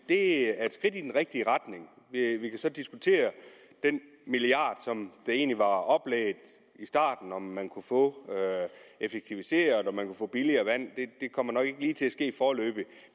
er et skridt i den rigtige retning vi kan så diskutere den milliard som egentlig var oplægget i starten altså om man kunne få effektiviseret og om man kunne få billigere vand det kommer nok ikke til at ske lige foreløbig